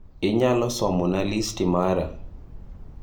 Inyalo somo na listi mara